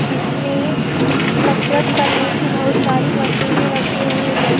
जिसमें ये कसरत करने की बहुत सारी मशीनें रखी हुई हैं।